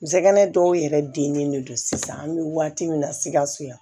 Nsɛnɛgɛnɛ dɔw yɛrɛ dilen de don sisan an bɛ waati min na sikaso yan